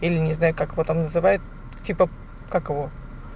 или не знаю как его там называют типа как его